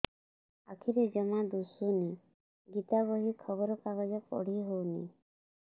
ଆଖିରେ ଜମା ଦୁଶୁନି ଗୀତା ବହି ଖବର କାଗଜ ପଢି ହଉନି